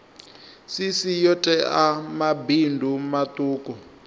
cc yo tea mabindu maṱuku